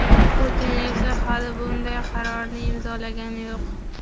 Putin esa hali bunday qarorni imzolagani yo‘q.